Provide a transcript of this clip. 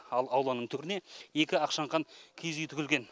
ал ауланың төріне екі ақшаңқан киіз үй тігілген